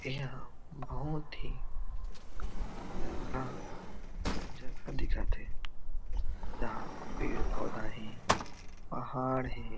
एहा बहुत ही प्यारा जगह दिखत हे जहा पेड़-पौधा हे पहाड़ हे।